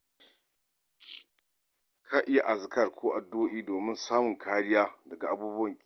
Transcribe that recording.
Ka iya azkar ko addu'o'i domin samun kariya daga abubuwan ƙi.